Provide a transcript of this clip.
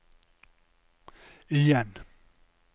igjen